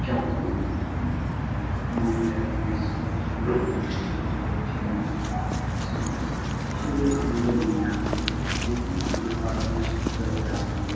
যাবতীয় উপকরণ মহিলারা নিয়ে আসে শুনে ছোট ছোট ছেলেমেয়ে শিশুরা | শিশুদের আনন্দের নিরানন্দ যে কোনো পুজো পার্বনে শিশুরা চায় আনন্দ ।